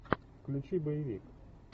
включи боевик